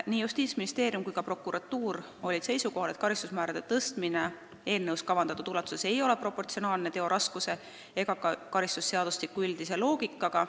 Nii Justiitsministeerium kui ka prokuratuur olid seisukohal, et karistusmäärade tõstmine eelnõus pakutud ulatuses ei ole proportsionaalne tegude raskusega ega vasta ka karistusseadustiku üldisele loogikale.